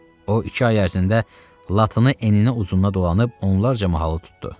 O iki ay ərzində Latını eninə uzununa dolanıb onlarca mahalı tutdu.